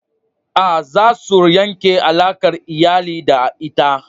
A'a, za su yanke alakar iyali da ita.